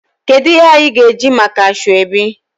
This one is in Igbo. Kedu ihe anyi ga eji maka asoebi?